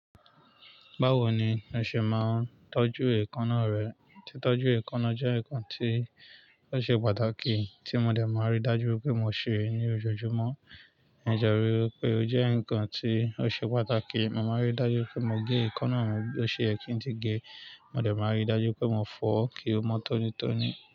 Báwo ni o ṣe máa ń tọ́jú èékánná rẹ? Titọ́jú èékánná jẹ́ nǹkan tí ó ṣe pàtàkì tí mo dẹ̀ máa ń rí dájú wipé mo ṣe é ní ojoojúmọ́. Ǹjẹ́ o rí i pé ó jẹ́ nǹkan tí ó ṣe pàtàkì? Mo máa ń rí dájú pé mo gé èékánná mi bó ṣe yẹ̀ kín tí gé. Mo dẹ̀ máa ń rí dájú pé mo fọ́ kí ó mọ tónítóní.